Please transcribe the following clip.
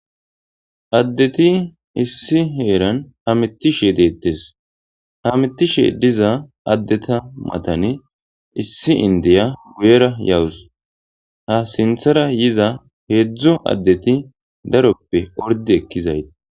addeti issi heeran hamitishe deettes hamitishe diza addeta matani issi indeya guyera yawus ha sinthara yiza hezhu addeti daroppe ordi ekkizayi